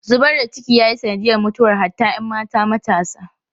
Zubar da ciki ya yi sanadiyar mutuwar hatta ‘yan mata matasa.